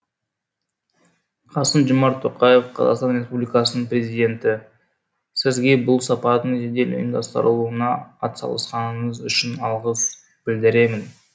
қасым жомарт тоқаев қазақстан республикасының президенті сізге бұл сапардың жедел ұйымдастырылуына атсалысқаныңыз үшін алғыс білдіремін